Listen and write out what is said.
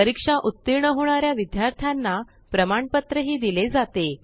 परीक्षा उत्तीर्ण होणार्या विद्यार्थाना प्रमाणपत्र ही दिले जाते